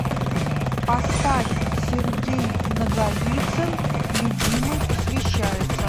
поставь сергей наговицын любимой посвящается